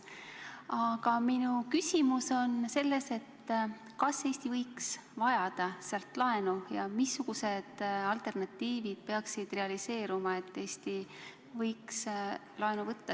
Aga minu küsimus on selles, kas Eesti võiks vajada sealt laenu ja missugused alternatiivid peaksid realiseeruma, et Eesti võiks sealt laenu võtta.